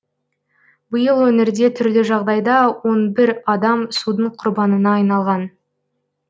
биыл өңірде түрлі жағдайда он бір адам судың құрбанына айналған